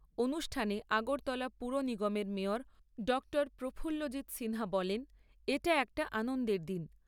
অনুষ্ঠানে আগরতলা পুর নিগমের মেয়র ড প্রফুল্লজিৎ সিনহা বলেন , এটা একটা আনন্দের দিন।